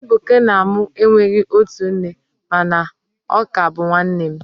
Ebuka na mu enweghi otu nne, mana ọ ka bu nwannem